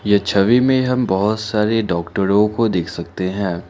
ये छवि में हम बहोत सारे डॉक्टरों को देख सकते हैं।